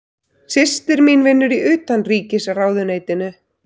Systir mín vinnur í Utanríkisráðuneytinu.